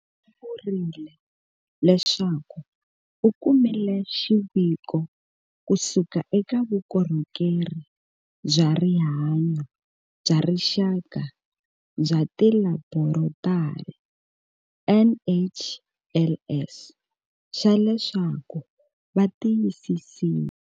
U vurile leswaku u kumile xiviko kusuka eka Vukorhokeri bya Rihanyo bya Rixaka bya Tilaborotari, NHLS, xa leswaku va tiyisisile.